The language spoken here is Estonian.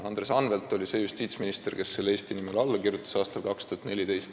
Andres Anvelt oli see justiitsminister, kes sellele aastal 2014 Eesti nimel alla kirjutas.